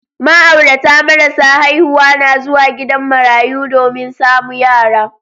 Ma'aurata marasa haihuwa na zuwa gidan marayu domin samu yara.